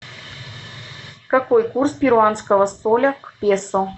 какой курс перуанского соля к песо